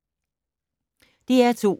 DR2